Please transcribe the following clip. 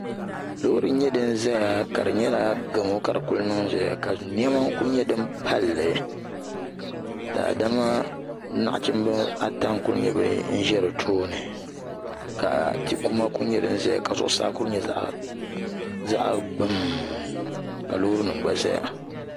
Loori n nyɛ din ʒɛya ka di nyɛla gamo ka di kuli niŋ ʒɛya ka niɛma n ku nyɛ din palli daadama nachimbi ata n ku nyɛ bin ʒɛ di tooni ka ti kuma ku nyɛ din ʒɛya ka zuɣusaa ku nyɛ zaɣ gbum ka loori nim gba ʒɛya